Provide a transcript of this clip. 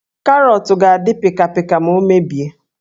Karọọtụ ga-adị pịkapịka ma o mebie